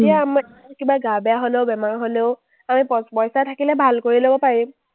তেতিয়া আমাৰ কিবা গা বেয়া হ’লেও, বেমাৰ হ’লেও আমি পইচা থাকিলে ভাল কৰি ল’ব পাৰিম।